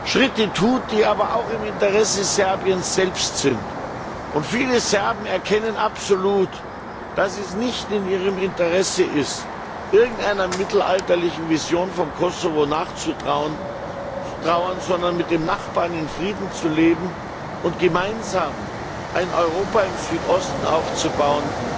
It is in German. Schritte tut, die aber auch in Serbiens eigenem Interesse liegen. Viele Serben erkennen absolut, dass es nicht in ihrem Interesse ist, irgendeiner mittelalterlichen Vision von Kosovo nachzutrauern, sondern mit dem Nachbarn in Frieden zu leben und gemeinsam ein Europa im Südosten aufzubauen,